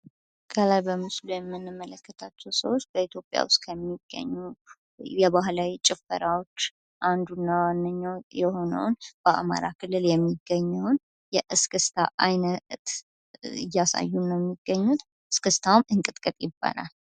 ከላይ በምስሉ የምንመለከታቸው ሰዎች በኢትዮጲያ ስጥ ከሚገኙ የባህላዊ ጭፈራዎች አንዱ እና ዋነኛው የሆነውን በአማራ ክልል የሚገኘውን የእስክስታ አይነት እያሳዩ ነው የሚገኙት። እስክስታውም እንቅጥቅጥ ይባላል።